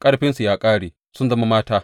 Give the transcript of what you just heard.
Ƙarfinsu ya ƙare, sun zama mata.